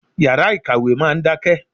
Yàrá ìkàwé máa ń dákẹ́.